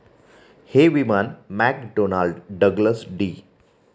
हे विमान McDonnell Douglas D.